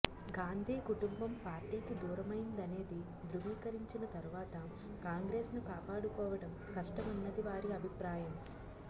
గాంధీ కుటుంబం పార్టీకి దూరమైందనేది ధృవీకరించిన తరువాత కాంగ్రెస్ను కాపాడుకోవటం కష్టమన్నది వారి అభిప్రాయం